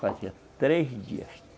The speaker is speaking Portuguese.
Fazia três dias.